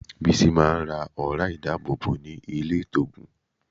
Bísí máa ń ra ọ̀ra ìdábòbò ní ilé-ìtoògùn.